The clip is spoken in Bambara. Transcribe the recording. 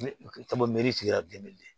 tigila den